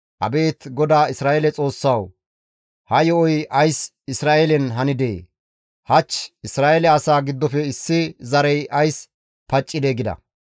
«Abeet GODAA Isra7eele Xoossawu, ha yo7oy ays Isra7eelen hanidee? Hach Isra7eele asaa giddofe issi zarey ays paccidee?» gida.